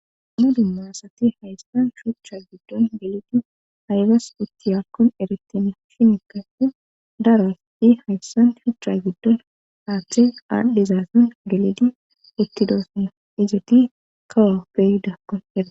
ammodu maassati hayssan shuhcha giddon gelidi haybas utti yakon eretine shinikka i darasti hayssan shucha giddon aaththe aaldhizaasan gelidi uttidosuna izati kawa bey dakkon erae